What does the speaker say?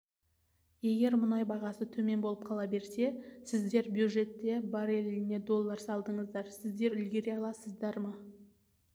егер мұнай бағасы төмен болып қала берсе сіздер бюджетте бареліне доллар салдыңыздар сіздер үлгере аласыздар ма